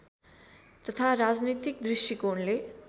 तथा राजनैतिक दृष्टिकोणले